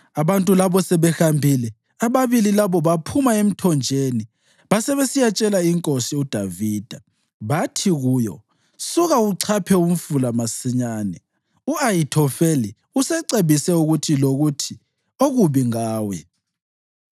Abantu labo sebehambile, ababili labo baphuma emthonjeni basebesiyatshela inkosi uDavida. Bathi kuyo, “Suka uchaphe umfula masinyane; u-Ahithofeli usecebise ukuthi lokuthi okubi ngawe.”